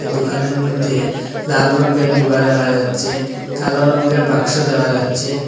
দোকানের মইধ্যে লাল রঙের ডিবা দেখা যাচ্ছে কালো রঙের বাক্স দেখা যাচ্ছে।